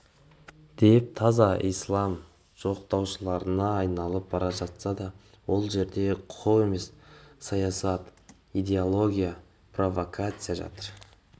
деп таза ислам жоқтаушыларына айналып бара жатса ол жерде құқық емес саясат идеология провакация жатыр